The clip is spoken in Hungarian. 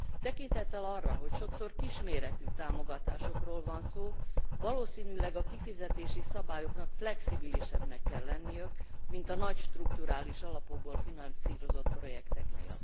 Tekintettel arra, hogy sokszor kisméretű támogatásokról van szó, valószínűleg a kifizetési szabályoknak flexibilisebbnek kell lenniük, mint a nagy strukturális alapokból finanszírozott projekteknél.